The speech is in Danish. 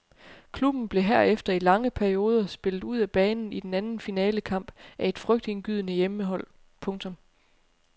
Klubben blev herefter i lange perioder spillet ud af banen i den anden finalekamp af et frygtindgydende hjemmehold. punktum